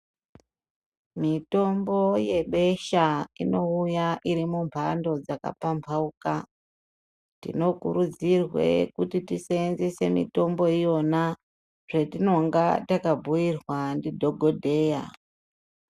Mitombo yebesha inowuya irimumhando dzakapambawuka. Tinokurudzirwe kuti tisenze mitombo yona zvetinonga takabuyirwa ndidhokodheya.